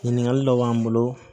Ɲininkali dɔ b'an bolo